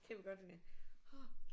Kan vi godt øh